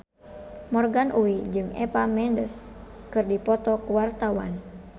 Morgan Oey jeung Eva Mendes keur dipoto ku wartawan